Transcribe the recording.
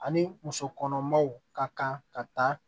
Ani musokɔnɔmaw ka kan ka taa